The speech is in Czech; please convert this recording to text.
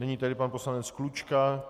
Nyní tedy pan poslanec Klučka.